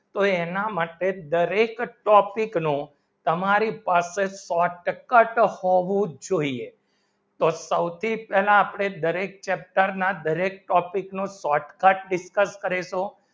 એના માટે દરેક જ topic નો તમારી પાસે સો ટક્કા હોવું જોઈએ તો સૌથી પહેલા આપણે દરેક chapter દરેક topic નો shortcut dicuss કરે તો